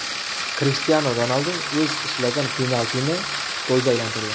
Krishtianu Ronaldu o‘z ishlagan penaltini golga aylantirdi.